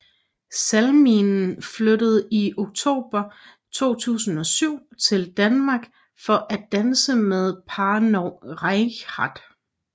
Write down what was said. Salminen flyttede i oktober 2007 til Danmark for at danse med Parnov Reichardt